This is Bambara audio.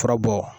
Furabɔ